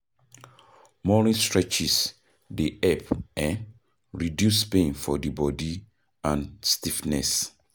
Morning stretches dey help um reduce pain for di bodi and stiffness